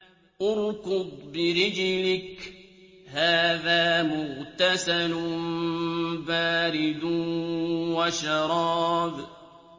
ارْكُضْ بِرِجْلِكَ ۖ هَٰذَا مُغْتَسَلٌ بَارِدٌ وَشَرَابٌ